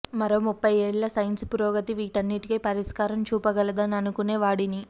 మరో ముప్పై ఏండ్ల సైన్స్ పురోగతి వీటన్నింటికీ పరిష్కారం చూపగలదని అనుకునే వాడిని